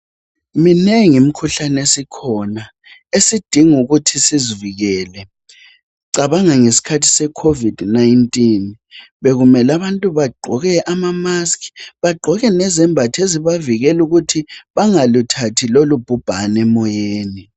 Minengi imikhuhlane esikhona esidinga ukuthi sizivikele. Cabanga ngesikhathi se Covid-19 bekumele abantu bagqoke ama "mask",bagqoke lezembatho ezibakela ukuthi bangaluthathi lolu bhubhane emoyeni